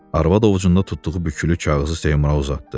Arvad ovucunda tutduğu bükülü kağızı Seymura uzatdı.